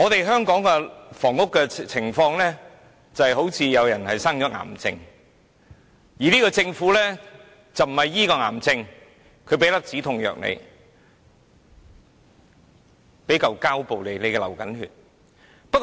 香港的房屋情況，就如有人患癌，但政府不是醫治癌症，而只是給予一粒止痛藥，又如有人流血，只給予一塊膠布。